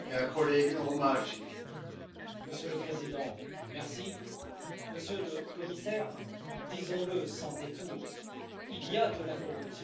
Monsieur le Président, Monsieur le Commissaire, disons le sans détour, il y a de la corruption sur les fonds européens.